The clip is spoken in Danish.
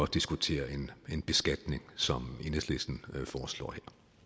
diskuterer en beskatning som enhedslisten foreslår